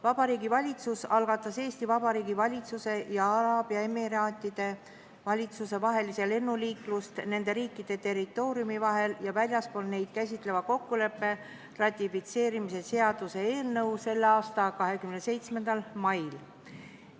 Vabariigi Valitsus algatas Eesti Vabariigi valitsuse ja Araabia Ühendemiraatide valitsuse vahelise lennuliiklust nende riikide territooriumide vahel ja väljaspool neid käsitleva kokkuleppe ratifitseerimise seaduse eelnõu selle aasta 27. mail.